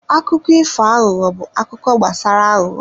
Akụkọ ifo aghụghọ bụ akụkọ gbasara aghụghọ.